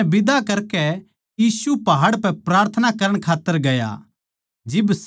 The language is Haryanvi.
चेल्यां नै बिदा करकै यीशु पहाड़ पै प्रार्थना करण खात्तर गया